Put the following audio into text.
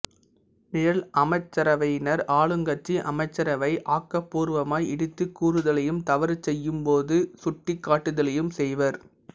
நிழல் அமைச்சரவையினர் ஆளுங்கட்சி அமைச்சரவையை ஆக்கப் பூர்வமாய் இடித்துக் கூறுதலையும் தவறு செய்யும் போது சுட்டிக்காட்டுதலையும் செய்வர்